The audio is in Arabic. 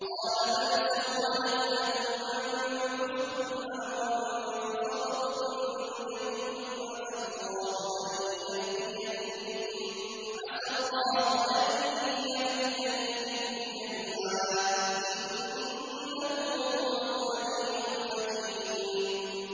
قَالَ بَلْ سَوَّلَتْ لَكُمْ أَنفُسُكُمْ أَمْرًا ۖ فَصَبْرٌ جَمِيلٌ ۖ عَسَى اللَّهُ أَن يَأْتِيَنِي بِهِمْ جَمِيعًا ۚ إِنَّهُ هُوَ الْعَلِيمُ الْحَكِيمُ